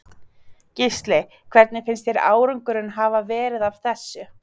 Gísli: Hvernig finnst þér árangurinn hafa verið af þessu?